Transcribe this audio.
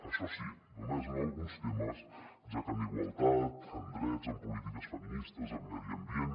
això sí només en alguns temes ja que en igualtat en drets en polítiques feministes en medi ambient